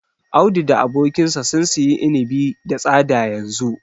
Audu da abokinsa sun siyi inibi da tsada yanzu.